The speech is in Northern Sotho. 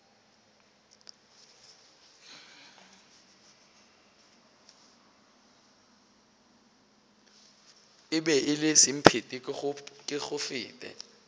e be e le semphetekegofete